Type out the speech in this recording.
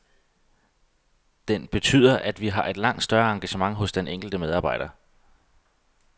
Den betyder, at vi har et langt større engagement hos den enkelte medarbejder.